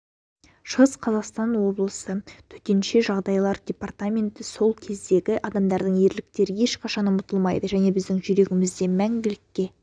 шығыс қазақстан облысы төтенше жағдайлар департаменті сол кездегі адамдардың ерліктері ешқашан ұмытылмайды және біздің жүрегімізде мәңгілікке